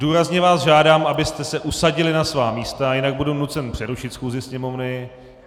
Důrazně vás žádám, abyste se usadili na svá místa, jinak budu nucen přerušit schůzi Sněmovny.